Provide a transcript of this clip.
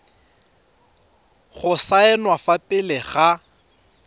go saenwa fa pele ga